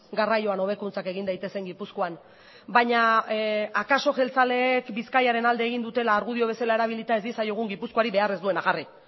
garraioan hobekuntzak egin daitezen gipuzkoan baina akaso jeltzaleek bizkaiaren alde egin dutela argudio bezala erabilita ez diezaiegun gipuzkoari behar ez duena jarri